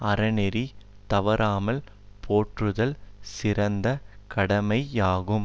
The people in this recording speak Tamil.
அறநெறி தவறாமல் போற்றுதல் சிறந்த கடமையாகும்